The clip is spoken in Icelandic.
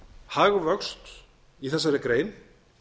hagvöxt í þessari grein